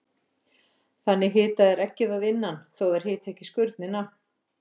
Þannig hita þær eggið að innan þó að þær hiti ekki skurnina.